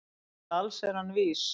Til alls er hann vís